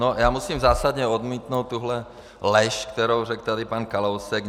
No, já musím zásadně odmítnout tuhle lež, kterou řekl tady pan Kalousek.